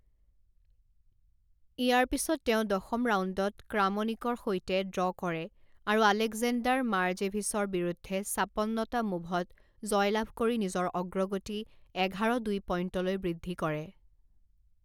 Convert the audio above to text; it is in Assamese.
ইয়াৰ পিছত তেওঁ দশম ৰাউণ্ডত ক্ৰামনিকৰ সৈতে ড্ৰ' কৰে, আৰু আলেকজেণ্ডাৰ মৰোজেভিচৰ বিৰুদ্ধে ছাপন্নটা মোভত জয়লাভ কৰি নিজৰ অগ্ৰগতি এঘাৰ দুই পইণ্টলৈ বৃদ্ধি কৰে।